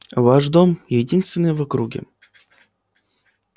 ваш дом единственный в округе